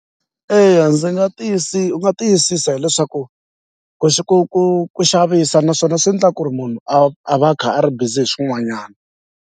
Eya ndzi nga u nga tiyisisa hileswaku ku ku ku ku xavisa naswona swi ndla ku ri munhu a va a kha a ri bizi hi swin'wanyani.